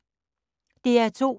DR2